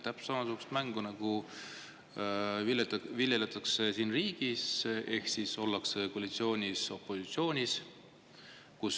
Täpselt samasugust mängu viljeletakse riigi ehk ollakse nagu koalitsioonis opositsioonis.